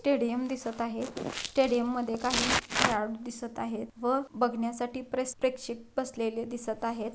Stadium दिसत आहे stadium मध्ये काही खेळाडू दिसत आहेत व बघण्यासाठी प्रेस प्रेक्षक बसलेले दिसत आहेत.